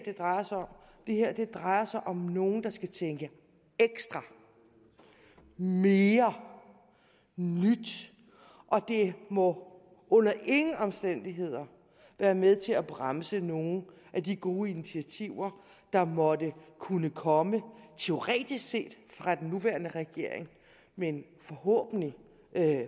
drejer sig om det her drejer sig om nogle der skal tænke ekstra mere nyt og det må under ingen omstændigheder være med til at bremse nogle af de gode initiativer der måtte kunne komme teoretisk set fra den nuværende regering men forhåbentlig